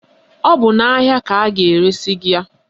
Ọ bụ n'ahịa ka a ga-eresi gị ya.